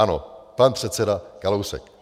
Ano, pan předseda Kalousek.